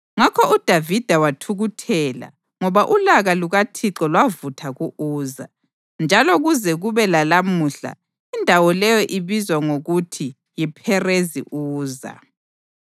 Ngakho uDavida wathukuthela ngoba ulaka lukaThixo lwavutha ku-Uza, njalo kuze kube lalamuhla indawo leyo ibizwa ngokuthi yiPherezi Uza.